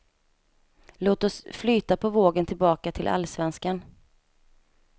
Låt oss flyta på vågen tillbaka till allsvenskan.